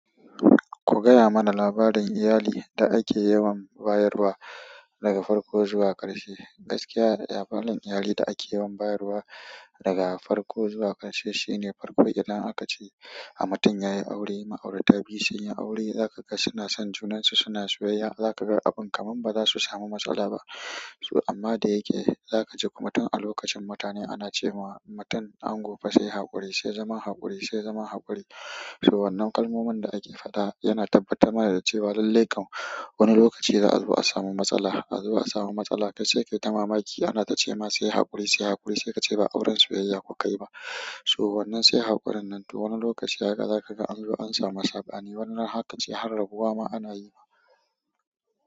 Ku gaya mana labarin iyali da ake yawan bayarwa daga farko zuwa ƙarshe. Gaskiya labarin iyali da ake yawan bayarwa daga farko zuwa ƙarshe shine farko idan akace a mutum yayi aure, ma'aurata biyu sun yi aure, zaka ga suna son junansu, suna soyayya, zaka ga abin kamar bazasu samu matsala ba. To amma da yake, zaka ji kuma tun a lokacin mutane ana ce wa, mutum ango fa sai haƙuri, sai zama haƙuri, sai zama haƙuri. To wannan kalmomin da ake faɗa yana tabbatar mana da cewa lallai kam wani lokaci za a zuba a samu matsala, a zuba a samu matsala, kai sai kai ta mamaki, ana ta ce ma sai haƙuri, sai haƙuri, sai ka ce ba auren soyayya kuka yi ba. To wannan sai haƙurin nan to wani lokaci haka zaka ga an zuba an samu sabani, wannan hakan sai har rabuwa ma ana yi.